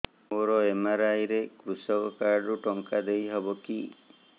ମୋର ଏମ.ଆର.ଆଇ ରେ କୃଷକ କାର୍ଡ ରୁ ଟଙ୍କା ଦେଇ ହବ କି